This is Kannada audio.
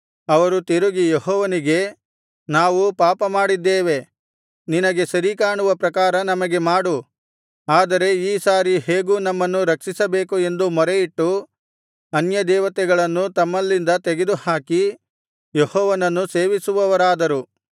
ಅವರು ತಿರುಗಿ ಯೆಹೋವನಿಗೆ ನಾವು ಪಾಪ ಮಾಡಿದ್ದೇವೆ ನಿನಗೆ ಸರಿಕಾಣುವ ಪ್ರಕಾರ ನಮಗೆ ಮಾಡು ಆದರೆ ಈ ಸಾರಿ ಹೇಗೂ ನಮ್ಮನ್ನು ರಕ್ಷಿಸಬೇಕು ಎಂದು ಮೊರೆಯಿಟ್ಟು ಅನ್ಯದೇವತೆಗಳನ್ನು ತಮ್ಮಲ್ಲಿಂದ ತೆಗೆದು ಹಾಕಿ ಯೆಹೋವನನ್ನು ಸೇವಿಸುವವರಾದರು